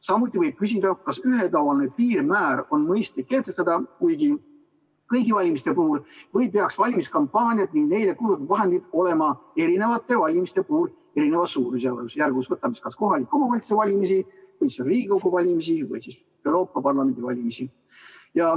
Samuti võib küsida, kas ühetaoline piirmäär on mõistlik kehtestada kõigi valimiste puhul või peaks valimiskampaaniad ja neile kulutatavad vahendid olema erinevate valimiste puhul erinevas suurusjärgus, võtame kohalike omavalitsuste valimised või Riigikogu valimised või Euroopa Parlamendi valimised.